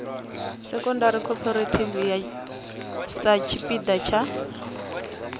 secondary cooperative sa tshipiḓa tsha